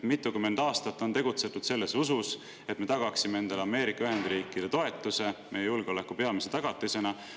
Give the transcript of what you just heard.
Mitukümmend aastat on tegutsetud usus, et me tagame endale Ameerika Ühendriikide toetuse meie julgeoleku peamise tagatisena.